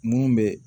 Mun bɛ